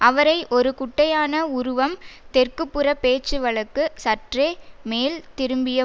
அவரை ஒரு குட்டையான உருவம் தெற்குப்புறப் பேச்சுவழக்கு சற்றே மேல் திரும்பிய